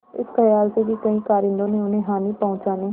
इस खयाल से कि कहीं कारिंदों ने उन्हें हानि पहुँचाने